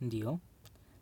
Ndio,